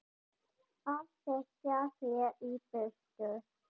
Að reka þig í burtu!